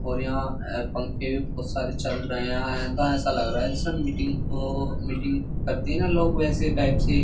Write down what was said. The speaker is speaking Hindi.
और यहाँ अ पंखे भी बहुत सारे चल रहे हैं। ऐसा ऐसा लग रहा है जैसे की वो मीटिंग करते है लोग बेसे टाइप से --